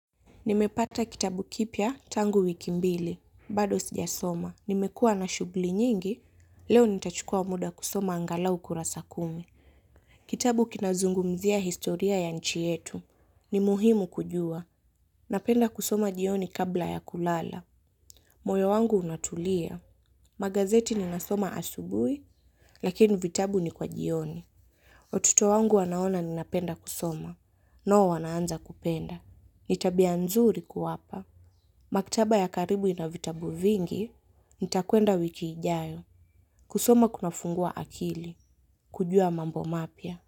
Nimepata kitabu kipya tangu wiki mbili. Bado sijasoma. Nimekua na shugli nyingi. Leo nitachukua muda kusoma angalau kurasa kumi. Kitabu kinazungumzia historia ya nchi yetu. Ni muhimu kujua. Napenda kusoma jioni kabla ya kulala. Moyo wangu unatulia. Magazeti ninasoma asubui. Lakini vitabu ni kwa jioni. Watoto wangu wanaona ninapenda kusoma. Nao wanaanza kupenda. Nitabia nzuri kuwapa. Makitaba ya karibu inavitabu vingi, nitakwenda wikiijayo, kusoma kunafungua akili, kujua mambo mapya.